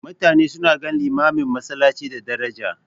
Mutane suna ganin limamin masallaci da daraja.